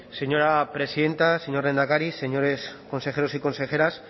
señora presidenta señor lehendakari señores consejeros y consejeras